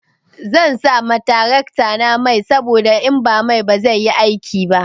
Zan sa ma taraktana mai saboda in ba mai ba zai yi aiki ba.